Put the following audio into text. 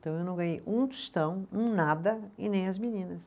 Então eu não ganhei um tostão, um nada e nem as meninas.